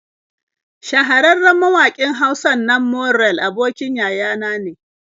Shahararren mawaƙin Hausan nan Morell abokin yaya na ne.